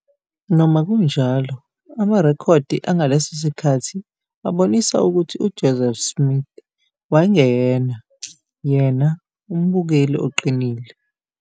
Noma kunjalo, amarekhodi angaleso sikhathi abonisa ukuthi uJoseph Smith wayengeyena, yena, umbukeli oqinile.